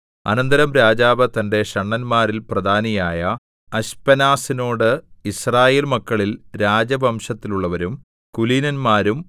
അനന്തരം രാജാവ് തന്റെ ഷണ്ഡന്മാരിൽ പ്രധാനിയായ അശ്പെനാസിനോട് യിസ്രായേൽ മക്കളിൽ രാജവംശത്തിലുള്ളവരും കുലീനന്മാരും